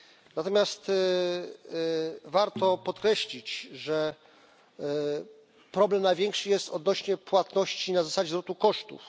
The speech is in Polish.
Natomiast warto podkreślić, że problem największy jest odnośnie płatności na zasadzie zwrotu kosztów.